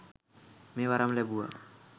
මෙය වරම් ලැබුවා